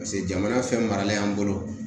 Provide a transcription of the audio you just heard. Paseke jamana fɛn maralen y'an bolo